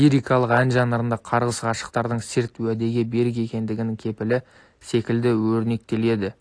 лирикалық ән жанрында қарғыс ғашықтардың серт-уәдеге берік екендігінің кепілі секілді өрнектеледі